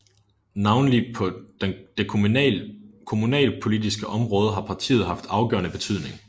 Navnlig på det kommunalpolitiske område har partiet haft afgørende betydning